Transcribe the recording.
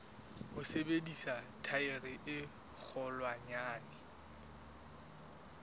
ho sebedisa thaere e kgolwanyane